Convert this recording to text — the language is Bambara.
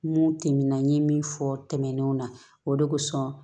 Mun tɛmɛn ye min fɔ tɛmɛnenw na o de kosɔn